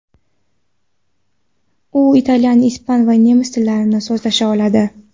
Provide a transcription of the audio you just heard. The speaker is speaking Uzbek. U italyan, ispan va nemis tillarida so‘zlasha oladi.